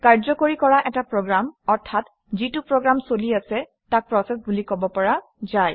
কাৰ্যকৰী কৰা এটা প্ৰগ্ৰেম অৰ্থাৎ যিটো প্ৰগ্ৰাম চলি আছে তাক প্ৰচেচ বুলি কব পৰা যায়